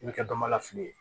I bɛ kɛ dɔmalafili ye